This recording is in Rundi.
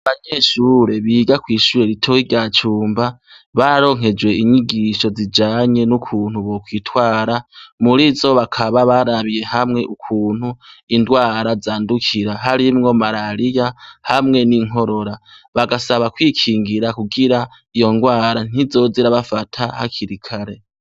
Abanyeshure biga kwishure ritoya rya cumba bararonkejwe inyigisho zijanye nukuntu bokwitwara muzo bakaba barabiye hamwe ukuntu indwara zandukira harimwo marariya hamwe ninkorora bagasaba kwikingira kugira iyo rwara ntizoze irabafata hakiri kare